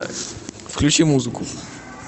включи музыку